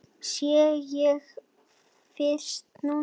Sé hann fyrst núna.